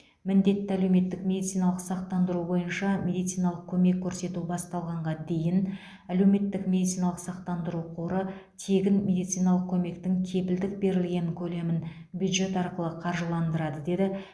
міндетті әлеуметтік медициналық сақтандыру бойынша медициналық көмек көрсету басталғанға дейін әлеуметтік медициналық сақтандыру қоры тегін медициналық көмектің кепілдік берілген көлемін бюджет арқылы қаржыландырады деді